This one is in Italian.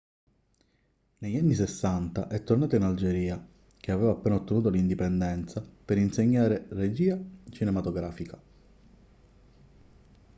negli anni 60 è tornato in algeria che aveva appena ottenuto l'indipendenza per insegnare regia cinematografica